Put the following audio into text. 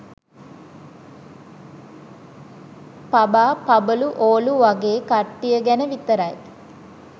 පබා පබලු ඕලු වගේ කට්ටිය ගැන විතරයි